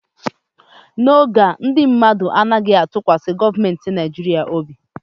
N'oge a, ndị mmadụ anaghị atụkwasị gọọmentị Nigeria obi